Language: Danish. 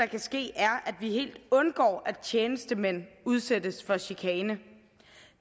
kan ske er at vi helt undgår at tjenestemænd udsættes for chikane